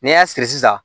N'i y'a siri sisan